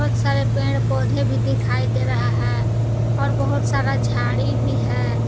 बहुत सारे पेड़ पौधे दिखाई दे रहा है और बहोत सारा झाड़ी भी है।